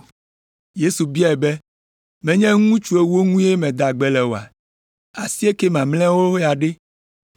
Yesu biae be, “Menye ŋutsu ewo ŋue meda gbe le oa? Asiekɛ mamlɛawo ya ɖe?